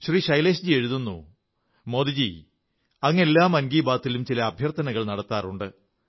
ശ്രീ ശൈലേഷ്ജി എഴുതുന്നു മോദി ജീ അങ്ങ് എല്ലാ മൻ കീ ബാത്തിലും ചില അഭ്യർഥനകൾ നടത്താറുണ്ട്